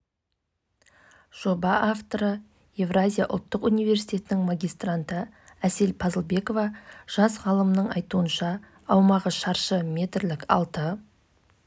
тәртіптік комиссиясының шешіміне сәйкес қосымша зерттеу кезінде және сынамасынан тиым салынған препараттың іздері табылған келіге дейінгі